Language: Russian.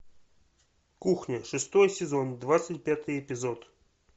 кухня шестой сезон двадцать пятый эпизод